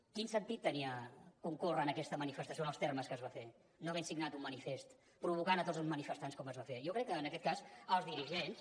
quin sentit tenia concórrer en aquesta manifestació en els termes que es va fer no havent signat un manifest provocant tots els manifestants com es va fer jo crec que en aquest cas els dirigents